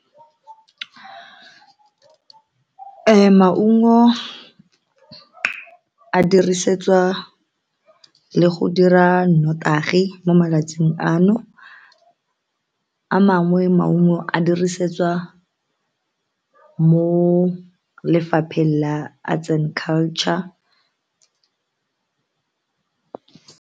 Maungo a dirisetswa le go dira notagi mo malatsing ano a mangwe maungo a dirisetswa mo lefapheng la arts and culture.